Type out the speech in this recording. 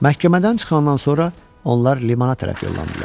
Məhkəmədən çıxandan sonra onlar limana tərəf yollandılar.